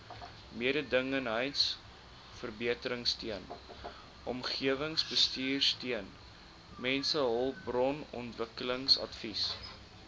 mededingendheidsverbeteringsteun omgewingsbestuursteun mensehulpbronontwikkelingsadvies